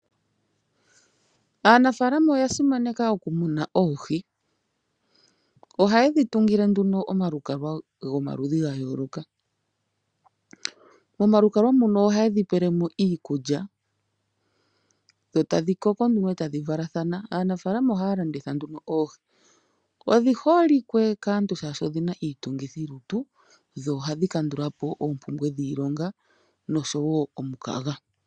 Aanafaalama oya simaneka oku muna oohi. Ohayedhi tungile nduno omalukalwa gomaludhi ga yooloka. Momalukalwa muno oha yedhi pelemo iikulya dho tadhi koko nduno etadhi valathana. Aanafaalama ohaya landitha nduno oohi ,odhi holike kaantu oshoka odhina iitungithilutu dho ohadhi kandulapo oompumbwe dhiilonga oshowo omukaga.